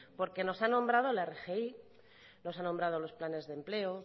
porque nos ha nombrado la rgi nos ha nombrado los planes de empleo